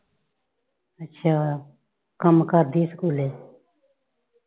ਅੱਛਾ। ਕੰਮ ਕਰਦੀ ਆ ਸਕੂਲੇ?